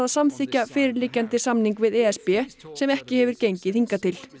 samþykkja fyrirliggjandi samning við e s b sem ekki hefur gengið hingað til